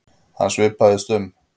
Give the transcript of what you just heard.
Hann svipaðist um.